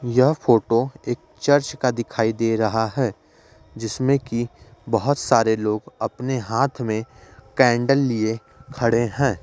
यह फोटो एक चर्च का दिखाई दे रहा है जिसमें कि बहुत सारे लोग अपने हाथ में कैंडल लिए खड़े है।